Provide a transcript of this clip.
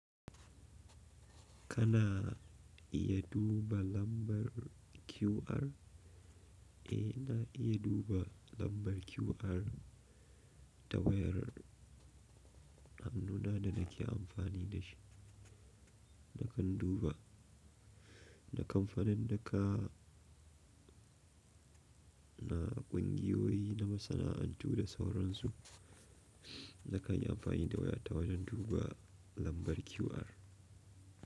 Kana iya duba lambar QR? Eh, na iya duba lambar QR ta wayar amnonan da nake amfani da shi. Nakan duba. Na kamfanin da ka na ƙungiyoyi na masana'antu da sauransu. Nakan yi amfani da waya ta wajen duba lambar QR.